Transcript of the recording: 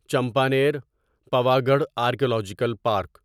Champaner Pavagadh archaeological park